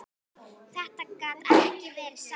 Þetta gat ekki verið satt.